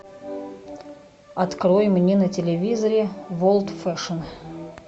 открой мне на телевизоре ворлд фэшн